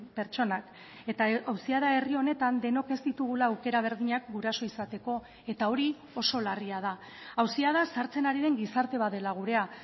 pertsonak eta auzia da herri honetan denok ez ditugula aukera berdinak guraso izateko eta hori oso larria da auzia da sartzen ari den gizarte bat dela gurea